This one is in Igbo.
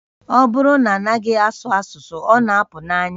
Ọ bụrụ na a naghị asụ asụsụ, ọ na-apụ n'anya